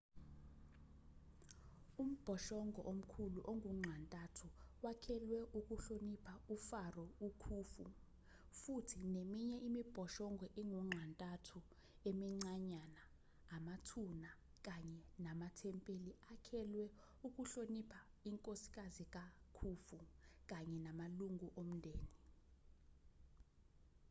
umbhoshongo omkhulu ongunxa-ntathu wakhelwe ukuhlonipha ufaro ukhufu futhi neminye imibhoshongo engunxa-ntathu emincanyana amathuna kanye namathempeli akhelwe ukuhlonipha inkosikazi kakhufu kanye namalungu omndeni